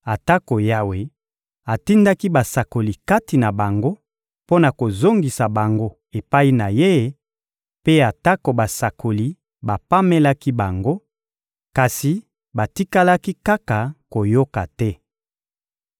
Atako Yawe atindaki basakoli kati na bango mpo na kozongisa bango epai na Ye, mpe atako basakoli bapamelaki bango, kasi batikalaki kaka koyoka te.